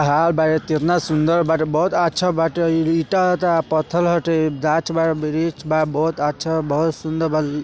पहाड़ बाई कितना सुन्दर बार बोहत अच्छा बट लिटता पत्थल हटे। जांच बा बिरिज बा बोहत अच्छा बोहत सुन्दर बल ।